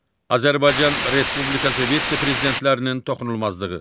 Azərbaycan Respublikası Vitse-prezidentlərinin toxunulmazlığı.